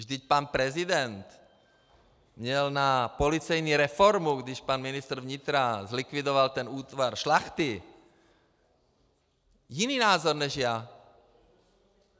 Vždyť pan prezident měl na policejní reformu, když pan ministr vnitra zlikvidoval ten útvar Šlachty, jiný názor než já.